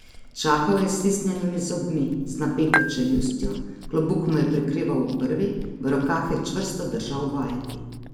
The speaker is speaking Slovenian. Čakal je s stisnjenimi zobmi, z napeto čeljustjo, klobuk mu je prekrival obrvi, v rokah je čvrsto držal vajeti.